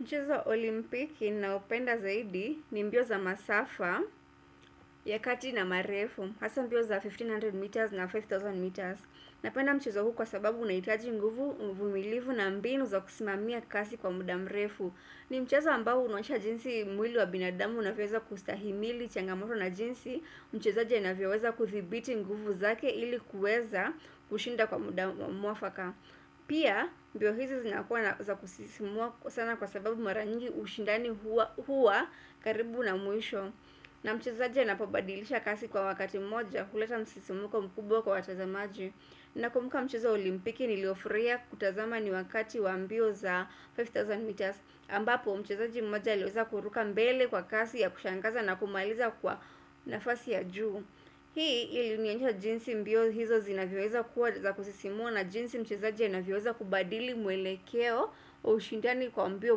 Mchezo wa olimpiki ninaopenda zaidi ni mbio za masafa ya kati na marefu. Hasa mbio za 1500 meters na 5000 meters. Napenda mchezo huu kwa sababu unahitaji nguvu, uvumilivu na mbinu za kusimamia kasi kwa muda mrefu. Ni mchezo ambao unaonyesha jinsi mwili wa binadamu unavyoweza kustahimili changamoto na jinsi. Mchezaja anavyoweza kuthibiti nguvu zake ili kuweza kushinda kwa muda mwafaka. Pia mbio hizi zinakuwa na za kusisimua sana kwa sababu mara nyingi ushindani huwa karibu na mwisho na mchezaji inapobadilisha kasi kwa wakati mmoja huleta msisimko mkubwa kwa watazamaji Nakummuka mchezo wa olimpiki niliofurahia kutazama ni wakati wambio za 5000 meters ambapo mchezaji mmoja alieza kuruka mbele kwa kasi ya kushangaza na kumaliza kwa nafasi ya juu Hii ilinionyesha jinsi mbio hizo zinavyoeza kuwa za kusisimua na jinsi mchezaji anavyoeza kubadili mwelekeo wa ushindani kwa mbio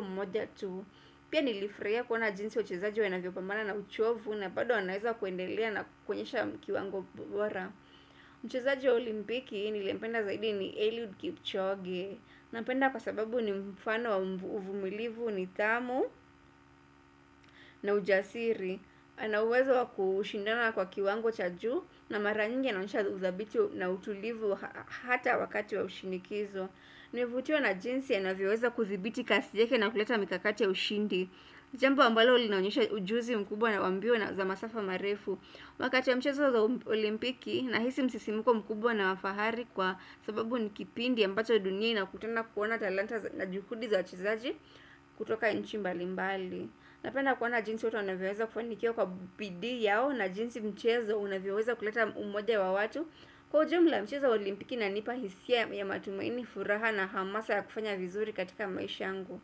mmoja tu. Pia nilifurahia kuona jinsi wachezaji wanavyopambana na uchovu na bado wanaeza kuendelea na kuenyesha kiwango bora. Mchezaji wa olimpiki niliyependa zaidi ni Eliud Kipchoge. Nampenda kwa sababu ni mfano wa uvumilivu nithamu na ujasiri. Ana uwezo wa kushindana kwa kiwango cha juu na mara nyingi anaonyesha uthabiti na utulivu hata wakati wa ushinikizo Nilivutiwa na jinsi anavyoza kuthibiti kasi yake na kuleta mikakati ya ushindi Jambo ambalo linaonisha ujuzi mkubwa na wa mbio na za masafa marefu Wakati wa mchezo za olimpiki nahisi msisimuko mkubwa na wafahari kwa sababu ni kipindi ambacho dunia inakutena kuona talanta na juhudi za wachezaji kutoka inchi mbali mbali Napenda kuona jinsi watu wanavyoweza kufanikiwa kwa bidii yao na jinsi mchezo unavyoweza kuleta umoja wa watu Kwa ujumla mchezo wa olimpiki unanipa hisia ya matumaini furaha na hamasa ya kufanya vizuri katika maisha yangu.